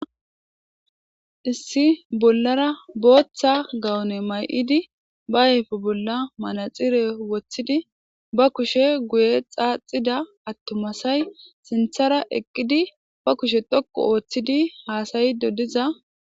Issi bollara botha gawune mayidi ba ayife bolla manaxire wothidi ba kushe guye xaxidda atumayi sinithara eqidi ba kushe dhoqu othidi hassayishe diza